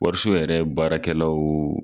Wariso yɛrɛ baarakɛlaw